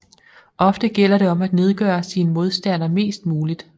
Ofte gælder det om at nedgøre sin modstander mest muligt